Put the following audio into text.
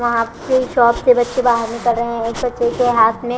वहां पे शॉप के बच्चे बाहर निकल रहे हैं एक बच्चे के हाथ में--